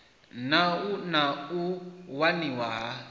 na na u waniwa ha